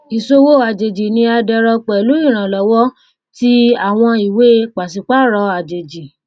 ìṣowó àjèjì ni a dẹrọ pẹlú ìrànlọwọ ti àwọn ìwé pàṣípààrọ àjèjì